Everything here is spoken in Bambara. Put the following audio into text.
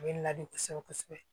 A bɛ ladi kosɛbɛ kosɛbɛ